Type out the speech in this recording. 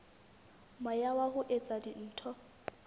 moya wa ho etsa dintho